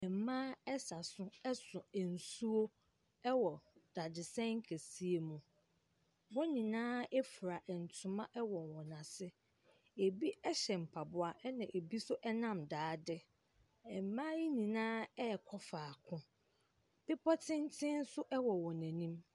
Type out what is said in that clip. Ɛmmaa ɛsa so ɛso nsuo ɛwɔ dadesɛn kɛseɛ mu. Wɔn nyinaa efura ntoma ɛwɔ wɔn ase. Ebi ɛhyɛ mpaboa na ebi nso ɛnam daade. Ɛmmaa yi nyinaa ɛkɔ faako. Pepɔ tenten nso ɛwɔ nanim.